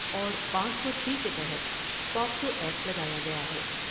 اور پانچ سو چھ کے تحت پاکسوا یکٹ لگایا گیا ہے ۔